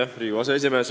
Hea Riigikogu aseesimees!